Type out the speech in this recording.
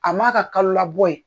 A man a ka kalo labɔ ye.